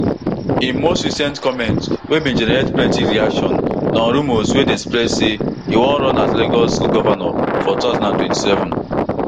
im most recent comment wey bin generate plenty reactions na on rumours wey dey spread say e wan run as lagos governor for two thousand and twenty-seven